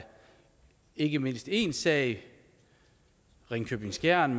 ikke mindst én sag i ringkøbing skjern